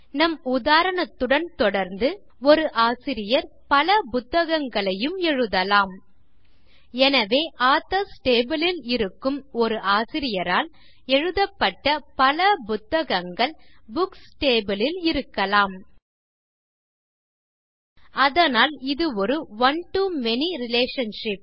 நம் உதாரணத்துடன் தொடர்ந்து ஒரு ஆசிரியர் பல புத்தகங்களையும் எழுதலாம் எனவே ஆதர்ஸ் டேபிள் ல் இருக்கும் ஒரு ஆசிரியரால் எழுதப்பட்ட பல புத்தகங்கள் புக்ஸ் டேபிள் ல் இருக்கலாம் அதனால் இது ஒரு one to மேனி ரிலேஷன்ஷிப்